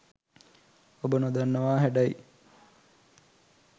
ඔබ නොදන්නවා හැඩයි